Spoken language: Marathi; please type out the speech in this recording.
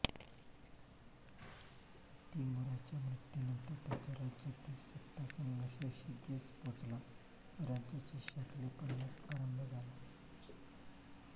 तिमूराच्या मृत्यूनंतर त्याच्या राज्यातील सत्तासंघर्ष शिगेस पोचला व राज्याची शकले पडण्यास आरंभ झाला